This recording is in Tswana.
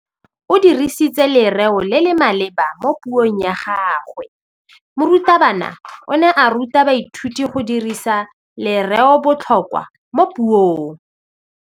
O dirisitse lerêo le le maleba mo puông ya gagwe. Morutabana o ne a ruta baithuti go dirisa lêrêôbotlhôkwa mo puong.